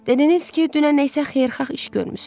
Dediniz ki, dünən nəysə xeyirxah iş görmüsüz.